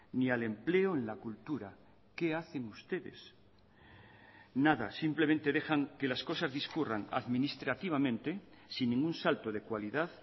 ni al empleo en la cultura qué hacen ustedes nada simplemente dejan que las cosas discurran administrativamente sin ningún salto de cualidad